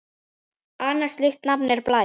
Annað slíkt nafn er Blær.